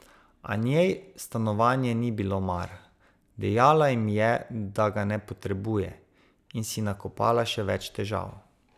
A njej stanovanje ni bilo mar, dejala jim je, da ga ne potrebuje, in si nakopala še več težav.